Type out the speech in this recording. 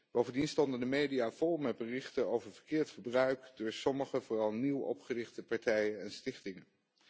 Bovendien stonden de media vol met berichten over verkeerd gebruik door sommige vooral nieuw opgerichte partijen en stichtingen.